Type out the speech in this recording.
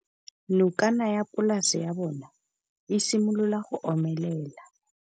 Nokana ya polase ya bona, e simolola go omelela.